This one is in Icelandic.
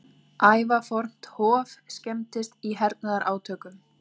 Ævafornt hof skemmdist í hernaðarátökum